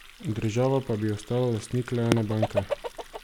Država pa bi ostala lastnik le ene banke.